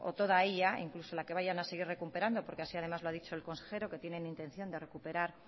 toda ella incluso la que vayan a seguir recuperando porque así además lo ha dicho el consejero que tienen intención de recuperar